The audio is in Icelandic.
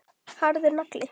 Harður nagli.